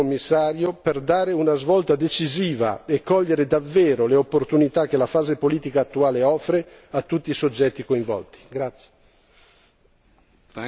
È quindi il momento, caro Commissario, di dare una svolta decisiva e cogliere davvero le opportunità che la fase politica attuale offre a tutti i soggetti coinvolti.